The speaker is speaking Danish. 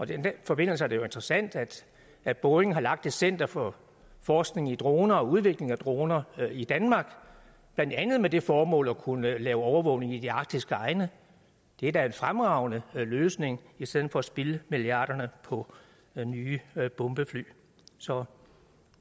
den forbindelse er det jo interessant at boeing har lagt et center for forskning i droner og udvikling af droner i danmark blandt andet med det formål at kunne lave overvågning i de arktiske egne det er da en fremragende løsning i stedet for at spilde milliarderne på nye bombefly så